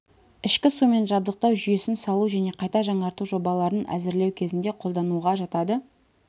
ішкі сумен жабдықтау жүйесін салу және қайта жаңарту жобаларын әзірлеу кезінде қолдануға жатады